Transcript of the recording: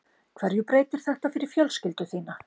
Hverju breytir þetta fyrir fjölskyldu þína?